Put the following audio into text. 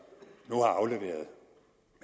nu har afleveret